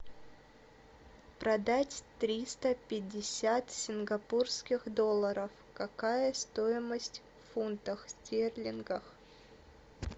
продать триста пятьдесят сингапурских долларов какая стоимость в фунтах стерлингов